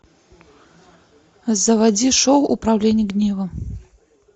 заводи шоу управление гневом